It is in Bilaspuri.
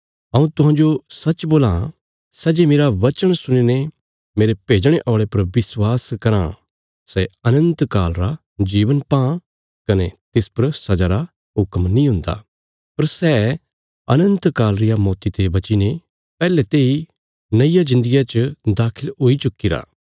हऊँ तुहांजो सच्च बोलां सै जे मेरा बचन सुणीने मेरे भेजणे औल़े पर विश्वास कराँ सै अनन्त काल रा जीवन पां कने तिस पर सजा रा हुक्म नीं हुन्दा पर सै अनन्त काल रिया मौती ते बचीने पैहले तेई नईया जिन्दगिया च दाखल हुई चुक्कीरा